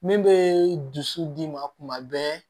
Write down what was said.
Min bɛ dusu d'i ma kuma bɛɛ